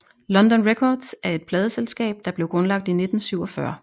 London Records er et pladeselskab der blev grundlagt i 1947